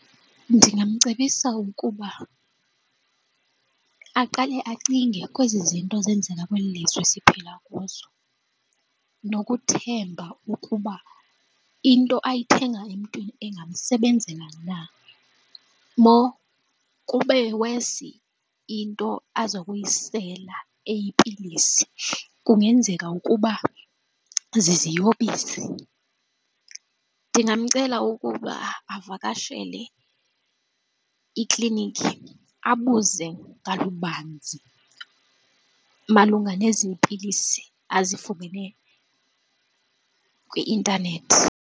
Ndingamcebisa ukuba aqale acinge kwezi zinto zenzeka kweli lizwe siphila kuzo nokuthemba ukuba into ayithenga emntwini ingamsebenzela na more kube worse into aza kuyisela eyipilisi, kungenzeka ukuba ziziyobisi. Ndingamcela ukuba avakashele iiklinikhi abuze kalubanzi malunga nezi pilisi azifumene kwi-intanethi.